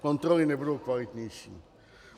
Kontroly nebudou kvalitnější.